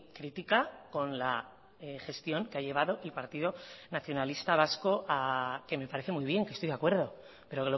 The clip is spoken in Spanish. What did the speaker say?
crítica con la gestión que ha llevado el partido nacionalista vasco que me parece muy bien que estoy de acuerdo pero